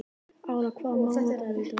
Ára, hvaða mánaðardagur er í dag?